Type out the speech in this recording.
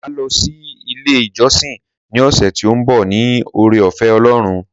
Màá lọ sí ilé ìjọsìn ní ọ̀sẹ̀ tí ó ń bọ̀ ní ọrẹ ọ̀fẹ́ Ọlọ́run